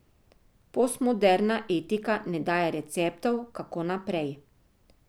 Postmoderna etika ne daje receptov, kako naprej.